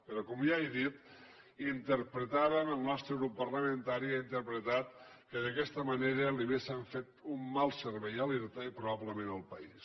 però com ja he dit interpretàvem el nostre grup parlamentari ho ha interpretat que d’aquesta manera li hauríem fet un mal servei a l’irta i probablement al país